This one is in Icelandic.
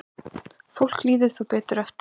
Fólki líður þá betur eftir á.